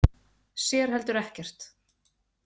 Sér heldur ekkert.